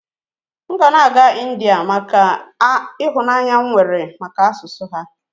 ga na-aga India n'ihi ịhụnanya m nwere maka asụsụ ha